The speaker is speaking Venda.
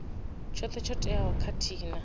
tshoṱhe tsho teaho khathihi na